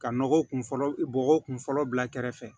Ka nɔgɔ kun fɔlɔ bɔgɔ kun fɔlɔ bila kɛrɛfɛ